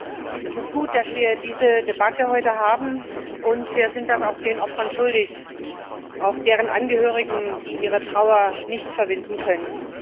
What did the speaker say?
Herr Präsident! Es ist gut, dass wir diese Debatte heute haben, wir sind das auch den Opfern schuldig. Auch deren Angehörigen, die ihre Trauer nicht verwinden können.